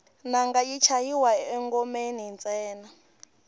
nanga yi chayiwa engomeni ntsena